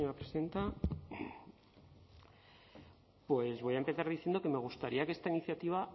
presidenta pues voy a empezar diciendo que me gustaría que esta iniciativa